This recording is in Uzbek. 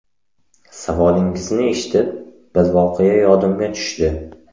Savolingizni eshitib, bir voqea yodimga tushdi.